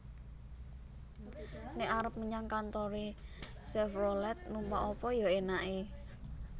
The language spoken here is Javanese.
Nek arep menyang kantore Chevrolet numpak apa yo enake